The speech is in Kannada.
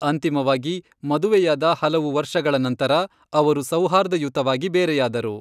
ಅಂತಿಮವಾಗಿ, ಮದುವೆಯಾದ ಹಲವು ವರ್ಷಗಳ ನಂತರ, ಅವರು ಸೌಹಾರ್ದಯುತವಾಗಿ ಬೇರೆಯಾದರು.